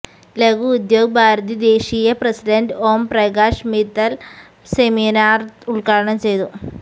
ലഘു ഉദ്യോഗ് ഭാരതി ദേശീയ president Omprakash Mittal seminar ഉദ്ഘാടനം ചെയ്തു